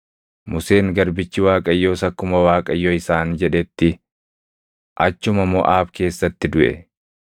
Museen garbichi Waaqayyoos akkuma Waaqayyo isaan jedhetti achuma Moʼaab keessatti duʼe.